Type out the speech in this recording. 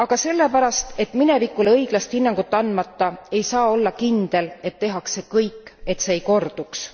Aga sellepärast, et minevikule õiglast hinnangut andmata ei saa olla kindel, et tehakse kõik, et see ei korduks.